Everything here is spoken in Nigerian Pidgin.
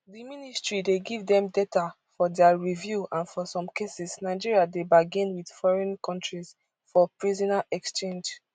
di ministry dey give dem data for dia review and for some cases nigeria dey bargain wit foreign kontris for prisoner exchange